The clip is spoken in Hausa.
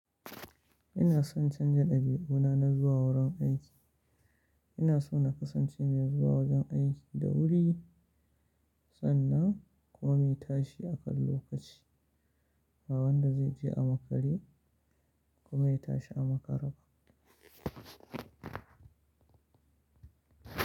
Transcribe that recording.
Inason canza dabi'una na zuwa wurin aiki. Ina so na kasance mai zuwa wajen aiki da wuri sannan kuma mai tashi akan lokaci, ba wanda zai je a makare kuma ya tashi a makare ba.